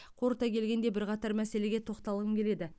қорыта келгенде бірқатар мәселеге тоқталғым келеді